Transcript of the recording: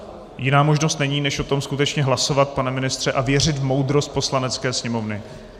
Jiná možnost není, než o tom skutečně hlasovat, pane ministře, a věřit v moudrost Poslanecké sněmovny.